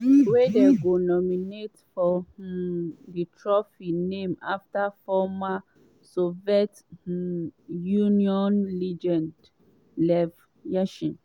wey dem go nominate for um di trophy named afta former soviet um union legend lev yashin.